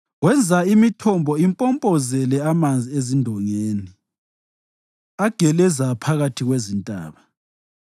Wenza imithombo impompozele amanzi ezindongeni; ageleza phakathi kwezintaba,